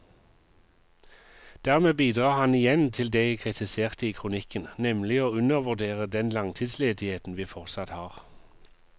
Dermed bidrar han igjen til det jeg kritiserte i kronikken, nemlig å undervurdere den langtidsledigheten vi fortsatt har.